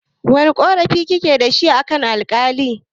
Wane ƙorafi kike dashi akan Alƙalin?